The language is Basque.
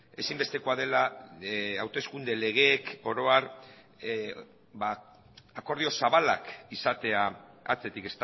ezinbestekoa dela hauteskunde legeek oro har akordio zabalak izatea atzetik